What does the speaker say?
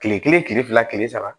Kile kelen kile fila kile saba